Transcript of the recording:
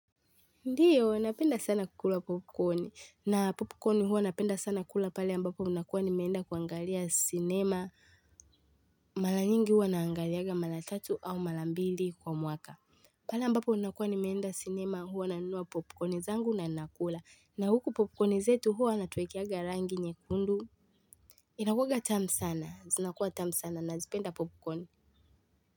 Ndiyo, napenda sana kukula popcorn, na popcorn hua napenda sana kukula pale ambapo ninakua nimeenda kuangalia sinema, mara nyingi huwa naangaliaga mara tatu au mara mbili kwa mwaka. Pale ambapo unakuwa nimeenda sinema huwa nanunua popcorn zangu na nakula, na huku popcorn zetu huwa wanatuwekeaga rangi nyekundu. Inakuaga tamu sana, zinakua tamu sana, nazipenda popcorn.